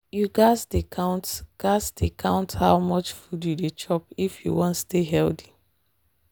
you gats dey count gats dey count how much food you dey chop if you wan stay healthy.